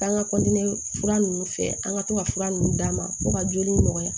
K'an ka kɔntiniye fura nunnu fɛ an ka to ka fura ninnu d'a ma fo ka joli nɔgɔya